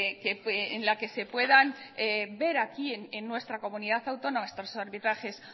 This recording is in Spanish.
en el que se puedan ver aquí en nuestra comunidad autónoma estos arbitrajes